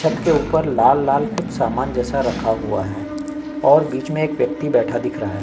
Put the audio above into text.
छत के ऊपर लाल लाल कुछ सामान जैसा कुछ रखा हुआ है और बिच में एक व्यक्ति बैठा दिख रहा है।